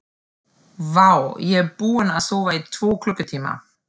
Vá, ég er búinn að sofa í tvo klukkutíma.